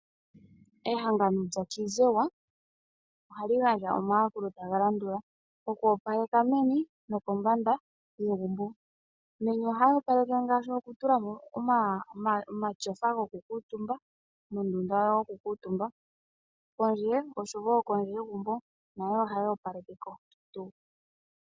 Ehangano lyaKwizewa ohali gandja omayakulo tagalandula, oku opaleka meni nokombanda yegumbo. Meni ohayoopaleke ngaashi okutulamo omatyofa gokukuutumba mondunda yokukuutumba pondje osho wo kondje yegumbo nako ohayoopalekeko tuu.